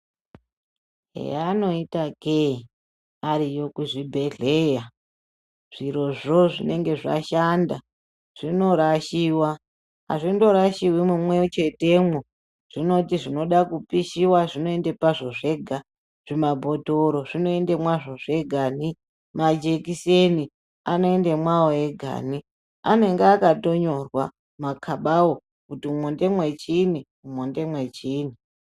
Yaanoita kee ariyo kuzvibhedhlera zvirozvo zvinenge zvashanda zvinorashiwa hazvindorashiwi mumwe chetemwo zvinoti zvinoda kupishiwa zvinoenda pazvo zvega zvimabhotoro zvinoenda mwazvo zvegani majekiseni anoenda mwawo egani anenge akatonyorwa makabawo kuti umwu ngemwe chiinyi umwu ngemwe chiinyi .